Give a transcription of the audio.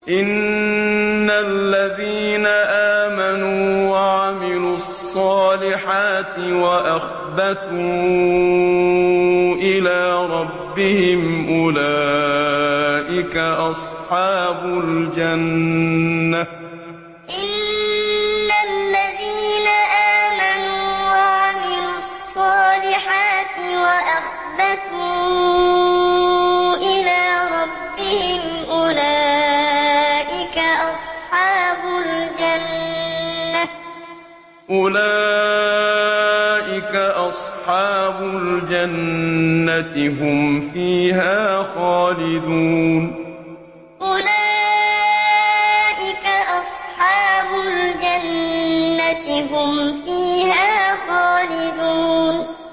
إِنَّ الَّذِينَ آمَنُوا وَعَمِلُوا الصَّالِحَاتِ وَأَخْبَتُوا إِلَىٰ رَبِّهِمْ أُولَٰئِكَ أَصْحَابُ الْجَنَّةِ ۖ هُمْ فِيهَا خَالِدُونَ إِنَّ الَّذِينَ آمَنُوا وَعَمِلُوا الصَّالِحَاتِ وَأَخْبَتُوا إِلَىٰ رَبِّهِمْ أُولَٰئِكَ أَصْحَابُ الْجَنَّةِ ۖ هُمْ فِيهَا خَالِدُونَ